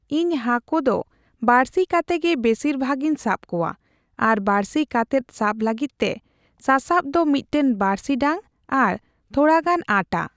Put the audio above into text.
ᱤᱧ ᱦᱟᱠᱳ ᱫᱚ ᱵᱟᱹᱲᱥᱤ ᱠᱟᱛᱮ ᱜᱮ ᱵᱮᱥᱤᱨ ᱵᱷᱟᱜᱽ ᱤᱧ ᱥᱟᱵ ᱠᱚᱣᱟ ᱾ᱟᱨ ᱵᱟᱹᱲᱥᱤ ᱠᱟᱛᱮᱫ ᱥᱟᱵ ᱞᱟᱜᱤᱫ ᱛᱮ ᱥᱟᱥᱟᱵ ᱫᱚ ᱢᱤᱫᱴᱮᱱ ᱵᱟᱹᱲᱥᱤ ᱰᱟᱝ ᱟᱨ ᱛᱷᱚᱲᱟ ᱜᱟᱱ ᱟᱴᱟ ᱾